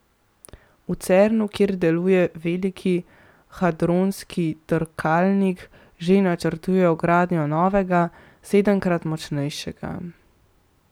V Cernu, kjer deluje Veliki hadronski trkalnik, že načrtujejo gradnjo novega, sedemkrat močnejšega.